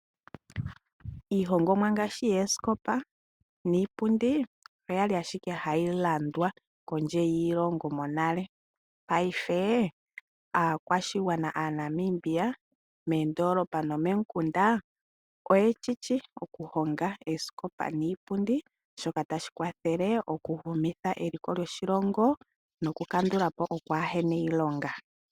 Iihongomwa ngaashi yoosikopa niipundi oya li ashike hayi landwa kondje yiilongo. Paife aakwashigwana Aanamibia moondoolopa nomomikunda oye shi shi okuhonga oosikopa niipundi shoka tashi kwathele okuhumitha eliko lyoshilongo nokukandula po okwaa he na iilonga.